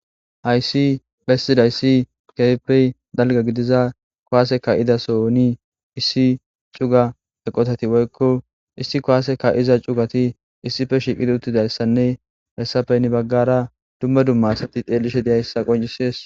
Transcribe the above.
hayssi bessidayssi kefeppey dalga gidiza kowaaseka idaso oni issi cuga eqotati woykko issi kowaaseka iza cugati issife shiiqidi uttidayssanne hessapeyni baggara dumma dumma asati deellishe deyayssa qoncisees